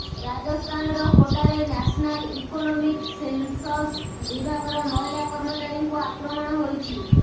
ରାଜସ୍ଥାନର କୋଟାରେ national economic census ବିଭାଗର ମହିଳା କର୍ମଚାରୀଙ୍କୁ ଆକ୍ରମଣ ହୋଇଛି